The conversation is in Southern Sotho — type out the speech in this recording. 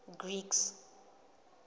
greeks